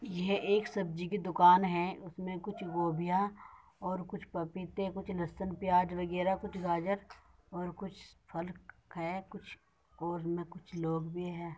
यह एक सब्जी की दुकान है उसमें कुछ गोभियां और कुछ पपीते कुछ लहसन प्याज़ वगैरह कुछ गाजर और कुछ फल है कुछ और में कुछ लोग भी हैं।